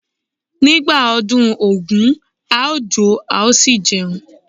Nígbà ọdún Ògún a ó jó a ó sì jẹun.